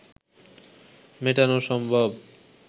মেটানো সম্ভব